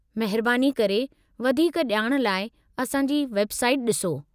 महिरबानी करे, वधीक ॼाण लाइ असांजी वेबसाइट डि॒सो।